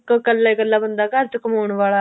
ਇੱਕ ਕੱਲਾ ਕੱਲਾ ਬੰਦਾ ਘਰ ਚ ਕਮਾਉਣ ਵਾਲਾ